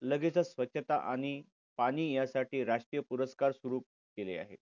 लगेचच स्वच्छता आणि पाणी यासाठी राष्ट्रीय पुरस्कार सुरू केले आहे.